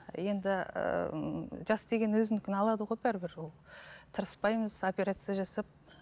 енді ііі жас деген өзінікін алады ғой бәрібір ол тырыспаймыз операция жасап